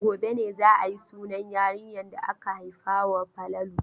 Gobe ne za a yi sunan yarinyar da aka haifawa Falalu.